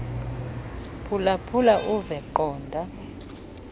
phulaphula uve qonda